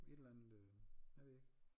Et eller andet øh hvad ved jeg ikke